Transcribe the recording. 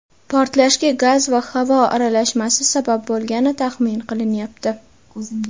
Portlashga gaz va havo aralashmasi sabab bo‘lgani taxmin qilinyapti.